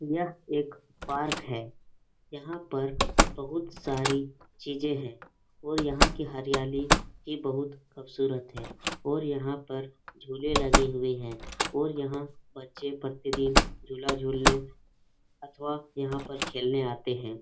यह एक पार्क है यहाँ पर बोहत सारी चीजें है और यहाँ कि हरियाली बहुत खुबसुरत है और यहाँ पर झुले लगे हुए हैं और यहाँ पर बच्चे प्रतिदिन झूला झूलने अथवा खेलने आते हैं।